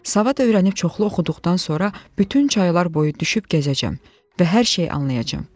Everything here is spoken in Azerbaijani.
Savad öyrənib çoxlu oxuduqdan sonra bütün çaylar boyu düşüb gəzəcəm və hər şeyi anlayacam.